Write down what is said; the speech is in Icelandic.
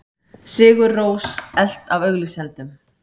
Sigur Rós elt af auglýsendum